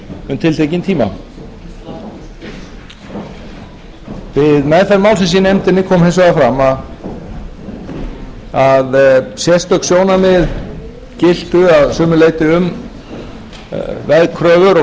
um tiltekinn tíma við meðferð málsins í nefndin kom hins vegar fram að sérstök sjónarmið giltu að sumu leyti um veðkröfur og